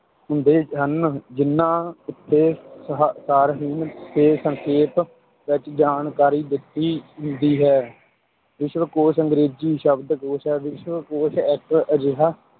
ਹੁੰਦੇ ਹਨ, ਜਿੰਨਾ ਉੱਤੇ ਸਾ~ ਸਾਰਹੀਣ ਤੇ ਸੰਖੇਪ ਵਿੱਚ ਜਾਣਕਾਰੀ ਦਿੱਤੀ ਹੁੰਦੀ ਹੈ, ਵਿਸ਼ਵਕੋਸ਼ ਅੰਗ੍ਰੇਜੀ ਸ਼ਬਦ ਕੋਸ਼ ਹੈ l ਵਿਸ਼ਵਕੋਸ਼ ਇੱਕ ਅਜਿਹਾ